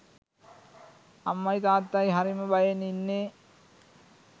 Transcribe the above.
අම්මයි තාත්තයි හරිම බයෙන් ඉන්නේ